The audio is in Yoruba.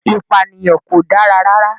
Ìpànìyàn kò dára rárá.